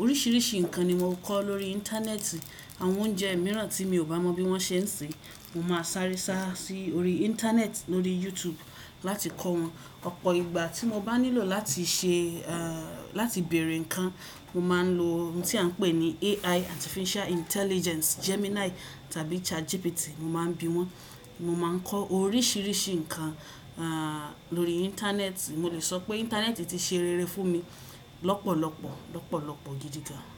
Oríṣìíríṣìí nǹkan ni mo kọ́ lórí Íńtánẹ́ẹ̀tì. Àwọn oúnjẹ mìíràn tí mi ò bá mọ bí wọ́n ṣe ń sè, mo máa sáré sá sí orí Íńtánẹ́ẹ̀tì, lórí YouTube láti kọ́ wọn. Ọ̀pọ̀ ìgbà tí mo bá nílò láti ṣe, láti bèèrè ǹkan, mo máa ń lo ohun tí a ń pè ní AI, Artificial Intelligence, Gemini tàbí ChatGPT, mo máa ń bi wọ́n. Mo máa ń kọ́ oríṣìíríṣìí ǹkan lórí Íńtánẹ́ẹ̀tì. Mo lè sọ pé Íńtánẹ́ẹ̀tì ti ṣe rere fún mi lọ́pọ̀lọpọ̀, lọ́pọ̀lọpọ̀ gidi gan.